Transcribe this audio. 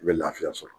I bɛ lafiya sɔrɔ